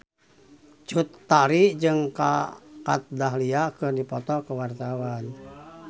Cut Tari jeung Kat Dahlia keur dipoto ku wartawan